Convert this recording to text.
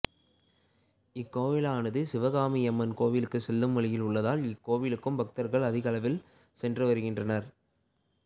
இக்கோயிலானது சிவகாமியம்மன் கோவிலுக்குச் செல்லும் வழியில் உள்ளதால் இக்கோவிலுக்கும் பக்தா்கள் அதிக அளவில் சென்று வருகின்றனா்